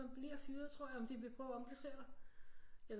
Om man bliver fyret tror jeg eller de vil prøve at omplacere dig jeg